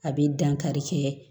A bɛ dankari kɛ